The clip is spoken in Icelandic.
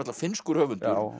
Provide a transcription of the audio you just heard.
finnskur höfundur